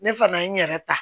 Ne fana ye n yɛrɛ ta